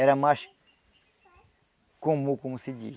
Era mais comum, como se diz.